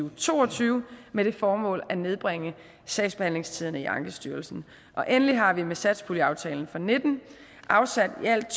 og to og tyve med det formål at nedbringe sagsbehandlingstiderne i ankestyrelsen og endelig har vi med satspuljeaftalen og nitten afsat i alt